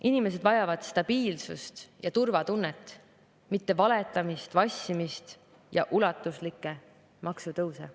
Inimesed vajavad stabiilsust ja turvatunnet, mitte valetamist, vassimist ja ulatuslikke maksutõuse.